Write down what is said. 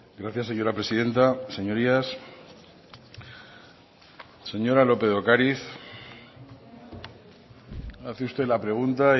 gracias señora presidenta señorías señora lópez de ocariz hace usted la pregunta